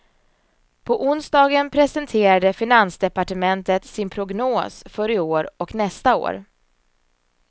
På onsdagen presenterade finansdepartementet sin prognos för i år och nästa år.